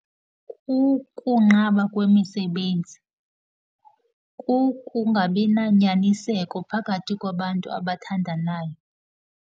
Kukunqaba kwemisebenzi. Kukungabi nanyaniseko phakathi kwabantu abathandanayo.